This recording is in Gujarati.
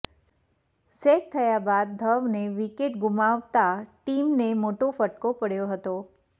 સેટ થયા બાદ ધવને વિકેટ ગુમાવતા ટીમને મોટો ફટકો પડ્યો હતો